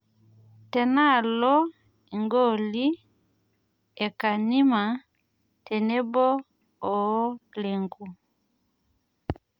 Tenaalo igooli e kanima tenebo oo Lenku